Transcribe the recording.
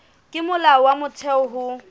ke molao wa motheo ho